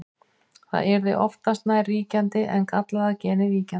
það yrði oftast nær ríkjandi en gallaða genið víkjandi